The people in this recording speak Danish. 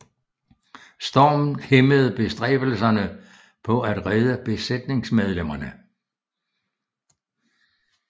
Stormen hæmmede bestræbelserne på at redde besætningsmedlemmerne